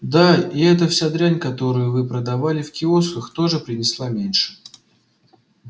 да и вся эта дрянь которую вы продавали в киосках тоже принесла меньше